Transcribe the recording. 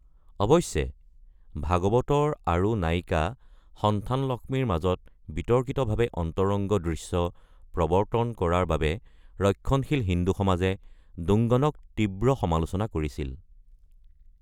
অৱশ্যে, ভাগৱতৰ আৰু নায়িকা সন্থানলক্ষ্মীৰ মাজত বিতৰ্কিতভাৱে অন্তৰংগ দৃশ্য প্ৰৱৰ্তন কৰাৰ বাবে ৰক্ষণশীল হিন্দু সমাজে দুংগনক তীব্ৰ সমালোচনা কৰিছিল।